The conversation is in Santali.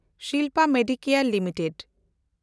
Shilpa Medicare limited